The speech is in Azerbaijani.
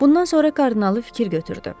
Bundan sonra kardinalı fikir götürdü.